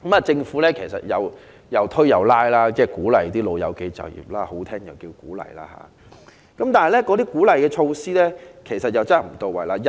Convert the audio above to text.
政府半推半拉地鼓勵長者就業——說得好聽就是"鼓勵"——但鼓勵措施卻不到位。